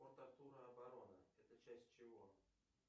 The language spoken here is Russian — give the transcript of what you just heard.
нр обороны это часть чего